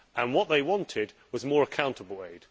What they wanted was more accountable aid.